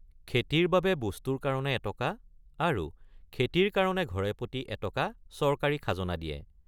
খেতিৰ বাবে বস্তুৰ কাৰণে এটকা আৰু খেতিৰ কাৰণে ঘৰেপতি এটকা চৰকাৰী খাজনা দিয়ে।